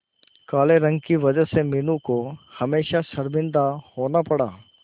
काले रंग की वजह से मीनू को हमेशा शर्मिंदा होना पड़ा